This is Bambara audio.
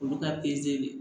Olu ka de